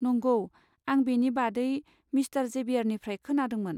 नंगौ, आं बेनि बादै मिस्टार जेबियारनिफ्राय खोनादोंमोन।